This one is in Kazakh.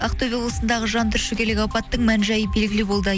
ақтөбе облысындағы жантүршігерлік апаттың мән жайы белгілі болды